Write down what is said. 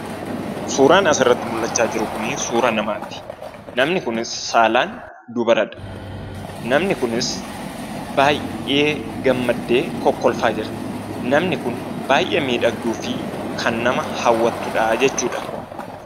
Suuran asirratti mul'achaa jiru kuni suuraa namaati. Namni Kunis saalaan Dubaradha, Namni Kunis baay'ee gammaddee kokkolfaa jirti, Namni Kun baay'ee midhagduu fi kan Nama hawwattudha jechuudha.